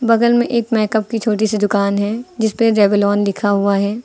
बगल में एक मेकअप की छोटी सी दुकान है जिसपे रेवलॉन लिखा हुआ है।